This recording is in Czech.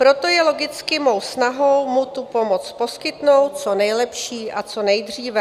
Proto je logicky mou snahou mu tu pomoc poskytnout co nejlepší a co nejdříve.